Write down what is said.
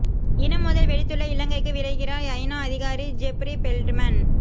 இன மோதல் வெடித்துள்ள இலங்கைக்கு விரைகிறார் ஐநா அதிகாரி ஜெப்ரி பெல்ட்மன்